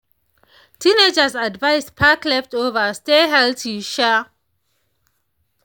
teenagers advised pack leftover stay healthy. um